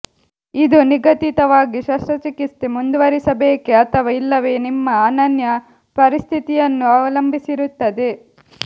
ಇದು ನಿಗದಿತವಾಗಿ ಶಸ್ತ್ರಚಿಕಿತ್ಸೆ ಮುಂದುವರೆಸಬೇಕೇ ಅಥವಾ ಇಲ್ಲವೇ ನಿಮ್ಮ ಅನನ್ಯ ಪರಿಸ್ಥಿತಿಯನ್ನು ಅವಲಂಬಿಸಿರುತ್ತದೆ